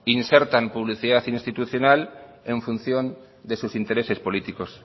insertan publicidad institucional en función de sus intereses políticos